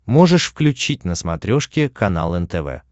можешь включить на смотрешке канал нтв